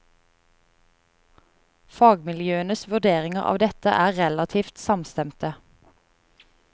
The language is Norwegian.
Fagmiljøenes vurderinger av dette er relativt samstemte.